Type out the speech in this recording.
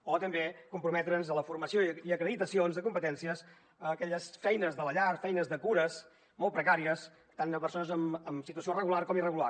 o també comprometre’s a la formació i acreditacions de competències a aquelles feines de la llar feines de cures molt precàries tant de persones en situació regular com irregular